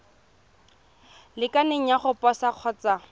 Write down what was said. lekaneng ya go posa kgotsa